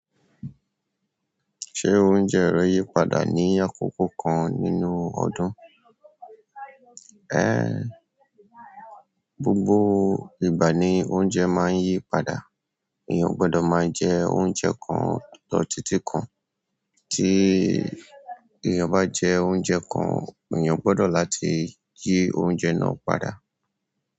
Ṣé oúnjẹ ré yí padà ní àkókò kan nínú ọdún? Ẹ́, gbogbo ìgbà ni ounjẹ̀ máa ń yí padà. Èèyàn ò gbọdọ̀ máa jẹ oúnjẹ kan lọ títí kan. Tí èèyàn bá jẹ oúnjẹ kan, èèyàn gbọdọ̀ láti yí oúnjẹ náà padà.